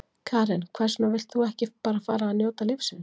Karen: Hvers vegna vilt þú ekki bara fara að njóta lífsins?